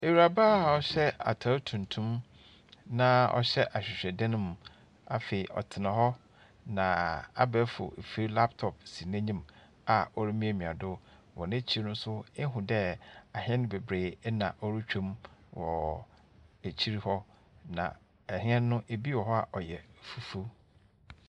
Ewuraba a ɔhyɛ atar tuntum na ɔhyɛ ahwehwɛdan mu. Na hw ɔtsena hɔ a abaɛfor efir laptop si n’enyim a orimiamia do. Wɔ n’ekyir no so, ihu dɛ ahɛn beberee na worutwa mu wɔ ekyir hɔ. Na ahɛn no, bi wɔ hɔ a, ɔyɛ fufuw.